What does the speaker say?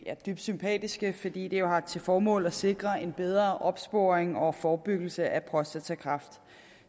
dybt sympatiske fordi de jo har til formål at sikre en bedre opsporing og forebyggelse af prostatakræft